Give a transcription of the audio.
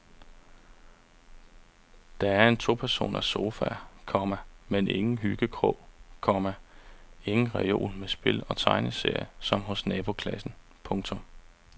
Der er en topersoners sofa, komma men ingen hyggekrog, komma ingen reol med spil og tegneserier som hos naboklassen. punktum